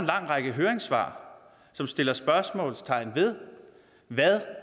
lang række høringssvar som sætter spørgsmålstegn ved hvad